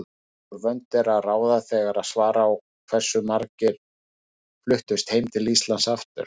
Úr vöndu er að ráða þegar svara á hversu margir fluttust heim til Íslands aftur.